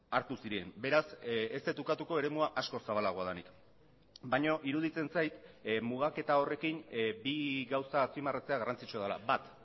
hartu ziren beraz ez dut ukatuko eremua askoz zabalagoa denik baina iruditzen zait mugaketa horrekin bi gauza azpimarratzea garrantzitsua dela bat